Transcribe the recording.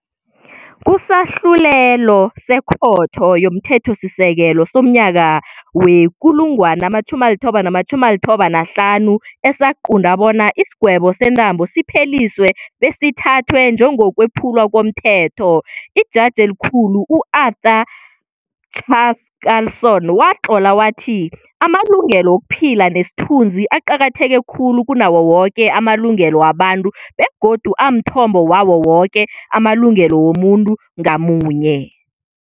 Kusahlulelo seKhotho yomThethosisekelo somnyaka we-1995 esaqunta bona isigwebo sentambo sipheliswe besithathwe njengokwephulwa komthetho, iJaji eliKhulu u-Arthur Chaskalson watlola wathi- Amalungelo wokuphila nesithunzi aqakatheke khulu kunawo woke amalungelo wabantu begodu amthombo wawo woke amalungelo womuntu ngamunye.